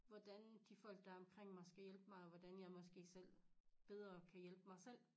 Hvordan de folk der er omkring mig skal hjælpe mig og hvordan jeg måske selv bedre kan hjælpe mig selv